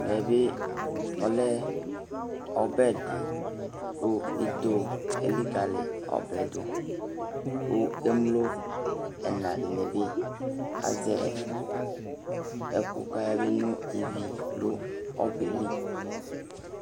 Ɛve bi ɔlɛ ɔbɛ di ku ito elikali ɔbɛ du, ku emlo ena dini bi azɛ ɛku k'aya be no iʋi nu ɔbɛ lɩ